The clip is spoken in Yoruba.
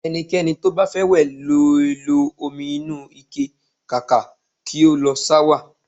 Ẹnikẹ́ni to bá fẹ́ wẹ̀ lè lo omi inúu ike kàkà kí ó lo ṣáwà